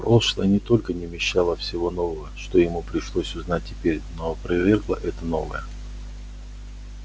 прошлое не только не вмещало всего нового что ему пришлось узнать теперь но опровергло это новое